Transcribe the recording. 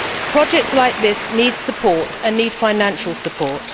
Projects like this need support, and need financial support.